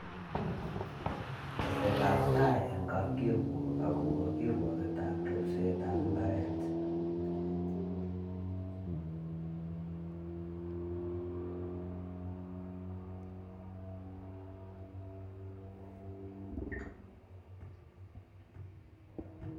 Tesetabtai eng kapkirwork akobo kirwoketab repsetab imbaret?